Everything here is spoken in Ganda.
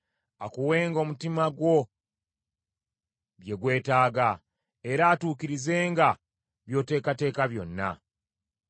Akuwenga omutima gwo bye gwetaaga, era atuukirizenga by’oteekateeka byonna.